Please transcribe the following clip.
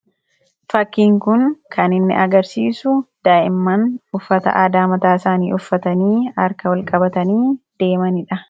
takkiin kun kan inni agarsiisu daa'immaan uffata adaamataa isaanii uffatanii harka walqabatanii deemaniidha